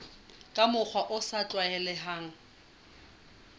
ka mokgwa o sa tlwaelehang